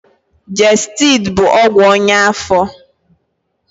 Gestidi bụ ọgwụ ọnya afọ.